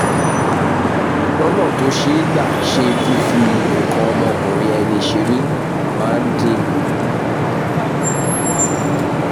lọ́nà tó ṣe é gbà ṣe fífi nǹkan ọmọkùnrin ẹni ṣeré máa ń dín kù